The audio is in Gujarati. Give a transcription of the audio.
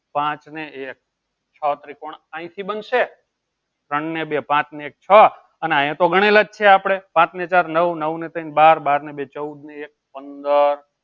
પાંચ ને એક છો ત્રિકોણ અયી થી બનશે ત્રણ ને બે પાંચ ને એક છો અને આયે તો ગણેલા જ છે આપળે પાંચ ને ચાર નવ નવ ને તય્ન બાર બાર ને બે ચૌદ ચૌદ ને એક પંદર